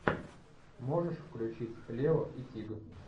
можешь включить лео и тиг